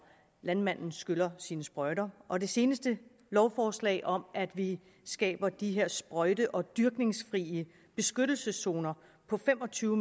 landmanden skyller sine sprøjter og det seneste lovforslag om at vi skaber de her sprøjte og dyrkningsfrie beskyttelseszoner på fem og tyve